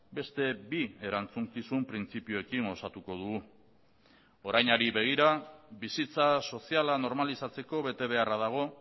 beste bi erantzukizun printzipioekin osatuko dugu orainari begira bizitza soziala normalizatzeko betebeharra dago